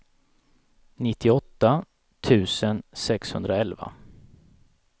nittioåtta tusen sexhundraelva